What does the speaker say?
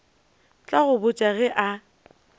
tla go botša ge a